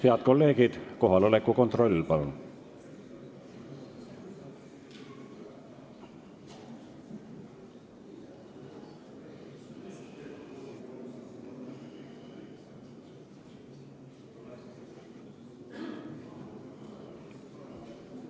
Head kolleegid, kohaloleku kontroll, palun!